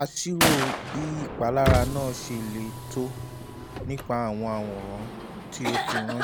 a ṣírò bí ìpalára náà ṣe le tó: nípa àwọn àwòrán tí o fi ránṣẹ́: